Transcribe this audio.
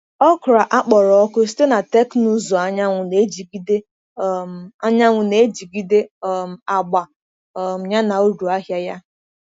Okra akpọrọ ọkụ site na teknụzụ anyanwụ na-ejigide um anyanwụ na-ejigide um agba um ya na uru ahịa ya.